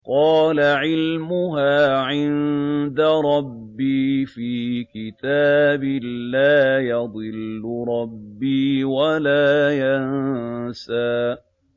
قَالَ عِلْمُهَا عِندَ رَبِّي فِي كِتَابٍ ۖ لَّا يَضِلُّ رَبِّي وَلَا يَنسَى